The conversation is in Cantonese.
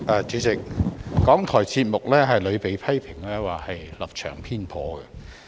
主席，港台節目屢被批評為立場偏頗。